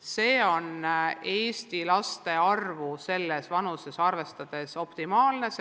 See on selles vanuses olevate Eesti laste arvu arvestades optimaalne.